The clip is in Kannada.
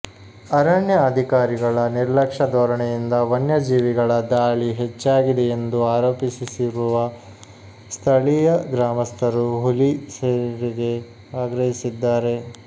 ಅರಣ್ಯ ಅಧಿಕಾರಿಗಳ ನಿರ್ಲಕ್ಷ್ಯ ಧೋರಣೆಯಿಂದ ವನ್ಯಜೀವಿಗಳ ದಾಳಿ ಹೆಚ್ಚಾಗಿದೆ ಎಂದು ಆರೋಪಿಸಿರುವ ಸ್ಥಳೀಯ ಗ್ರಾಮಸ್ಥರು ಹುಲಿ ಸೆರೆಗೆ ಆಗ್ರಹಿಸಿದ್ದಾರೆ